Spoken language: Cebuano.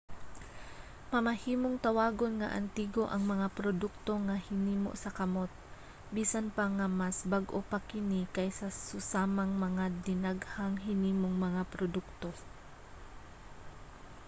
mamahimong tawagon nga antigo ang mga produkto nga hinimo sa kamot bisan pa nga mas bag-o pa kini kaysa sa susamang mga dinaghang-hinimong mga produkto